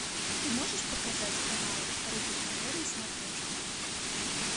ты можешь показать канал рубль тв на смотрешке